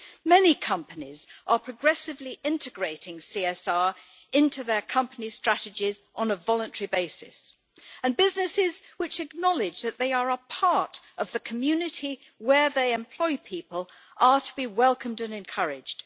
Many companies are progressively integrating CSR into their company strategies on a voluntary basis, and businesses which acknowledge that they are a part of the community where they employ people are to be welcomed and encouraged.